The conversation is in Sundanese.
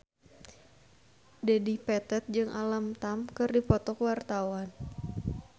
Dedi Petet jeung Alam Tam keur dipoto ku wartawan